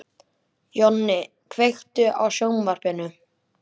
Jonni, kveiktu á sjónvarpinu.